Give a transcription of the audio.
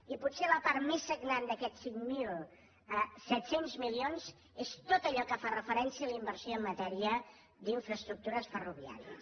i potser la part més sagnant d’aquests cinc mil set cents milions és tot allò que fa referència a la inversió en matèria d’infraestructures ferroviàries